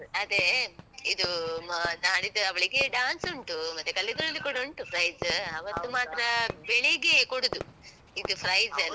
ಅದೇ, ಇದು ಅಹ್ ನಾಡಿದ್ದು ಅವಳಿಗೆ dance ಉಂಟು, ಮತ್ತೆ ಕಲಿಯುವುದ್ರಲ್ಲಿ ಕೂಡ ಉಂಟು prize ಅವತ್ತು ಮಾತ್ರ ಬೆಳಗ್ಗೆಯೇ ಕೊಡುದು, ಇದು prize ಎಲ್ಲ.